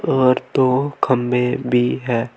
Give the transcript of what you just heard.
और दो खंबे भी है।